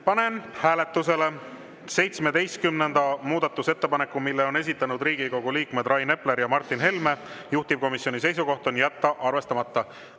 Panen hääletusele 17. muudatusettepaneku, mille on esitanud Riigikogu liikmed Rain Epler ja Martin Helme, juhtivkomisjoni seisukoht on jätta arvestamata.